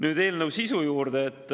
Nüüd eelnõu sisu juurde.